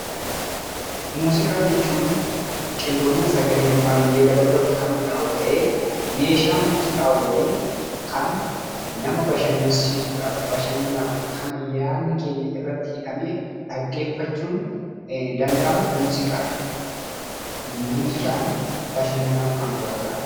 Muuziqaa jechuun qindoomina sagalee irratti kan hundaa'u ta'ee, meeshaa muuziqaa waliin kan nama bashannansiisuudhaaf kan yaanni keenya irratti hidhamee dhaggeeffachuun danda'amu muuziqaa jedhama. Muuziqaan bashannanaaf kan nu gargaarudha.